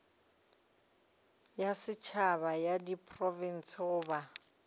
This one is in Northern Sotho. ya setšhaba ya diprofense goba